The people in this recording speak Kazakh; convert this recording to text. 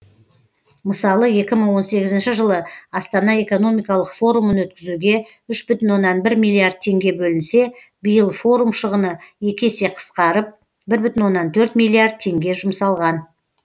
мысалы екі мың он сегізінші жылы астана экономикалық форумын өткізуге үш бүтін оннан бір миллиард теңге бөлінсе биыл форум шығыны екі есе қысқарып бір бүтін оннан төрт миллиард теңге жұмсалған